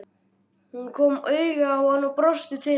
Hún kom auga á hann og brosti til hans.